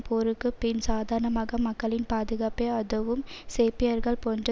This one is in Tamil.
போருக்கு பின் சாதாரண மக்களின் பாதுகாப்பை அதுவும் சேர்பியர்கள் போன்ற